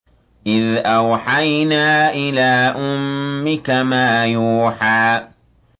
إِذْ أَوْحَيْنَا إِلَىٰ أُمِّكَ مَا يُوحَىٰ